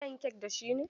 Zan yi kek da shi ne.